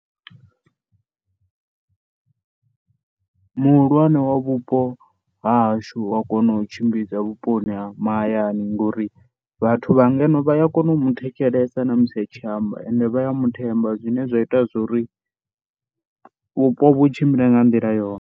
muhulwane wa vhupo ha hashu u a kona u tshimbidza vhuponi ha mahayani ngori, vhathu vha ngeno vha ya kona u muthetshelesa na musi a tshi amba, ende vha ya muthemba zwine zwa ita zwori vhupo vhu tshimbile nga nḓila yone.